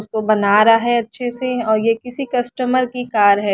उसको बना रहा है अच्छे से और ये किसी कस्टमर की कार है।